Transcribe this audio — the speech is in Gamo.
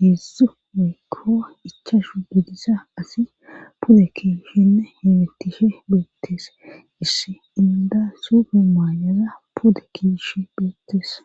heedzdzu weykko ichashu gudisa asi pude kishinne himitishe beettees issi inda sufe maayaza pude kish beettees